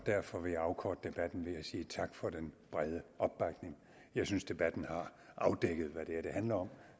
og derfor vil jeg afkorte debatten ved at sige tak for den brede opbakning jeg synes debatten har afdækket hvad det er det handler om